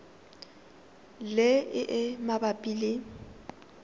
le e e mabapi le